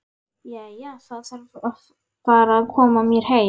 Jæja, ég þarf að fara að koma mér heim